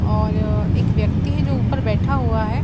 और एक व्यक्ति है जो ऊपर बैठा हुआ है।